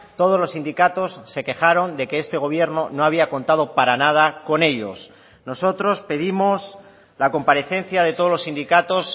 todos los sindicatos se quejaron de que este gobierno no había contado para nada con ellos nosotros pedimos la comparecencia de todos los sindicatos